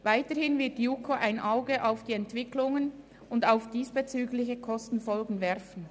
Weiterhin wird die JuKo ein Auge auf die Entwicklungen und auf diesbezügliche Kosten werfen.